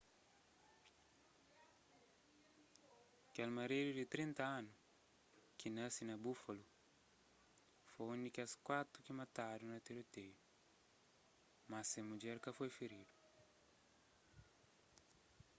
kel maridu di 30 anu ki nasi na buffalo foi un di kes kuatu ki matadu na tiroteiu más se mudjer ka foi firidu